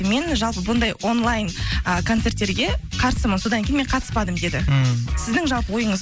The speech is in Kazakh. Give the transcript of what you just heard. мен жалпы бұндай онлайн ы концерттерге қарсымын содан кейін мен қатыспадым деді ммм сіздің жалпы ойыңыз